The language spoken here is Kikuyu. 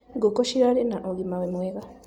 Ngũkũ cirarĩ na ũgima mwega.